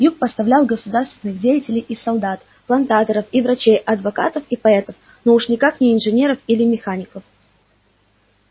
юг поставлял государственных деятелей и солдат плантаторов и врачей адвокатов и поэтов но уж никак не инженеров или механиков